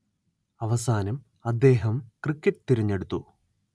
അവസാനം അദ്ദേഹം ക്രിക്കറ്റ് തിരെഞ്ഞെടുത്തു